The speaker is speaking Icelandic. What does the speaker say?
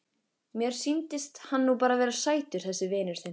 Mér sýndist hann nú bara vera sætur þessi vinur þinn.